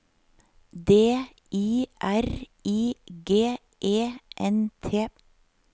D I R I G E N T